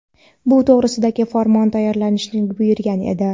bu to‘g‘risida farmon tayyorlashni buyurgan edi.